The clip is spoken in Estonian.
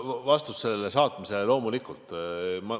Vastus teile on: loomulikult ma saan.